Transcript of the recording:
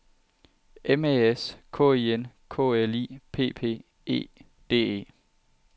M A S K I N K L I P P E D E